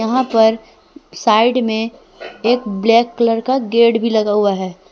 वह पर साइड में एक ब्लैक कलर का गेट भी लगा हुआ है।